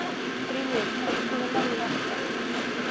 Grímnir, kanntu að spila lagið „Í hjarta mér“?